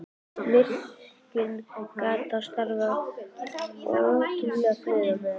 Virkjunin gat þá starfað ótrufluð á meðan.